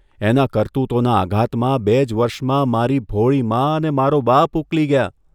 એનાં કરતૂતોના આઘાતમાં બે જ વર્ષમાં મારી ભોળી મા અને મારો બાપ ઊકલી ગયાં.